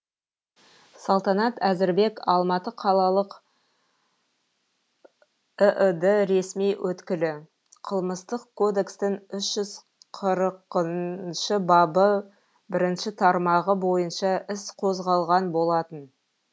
салтанат әзірбек алматы қалалық іід ресми өкілі қылмыстық кодекстің үш жүз қырқыншы бабы бірінші тармағы бойынша іс қозғалған болатын